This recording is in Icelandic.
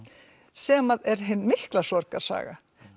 sem er hin mikla sorgarsaga